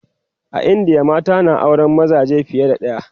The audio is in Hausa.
a indiya mata na auran mazaje fiye da ɗaya